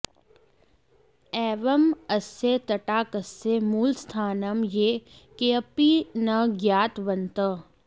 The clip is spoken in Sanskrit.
एवं अस्य तटाकस्य मूलस्थानं ये केऽपि न ज्ञातवन्तः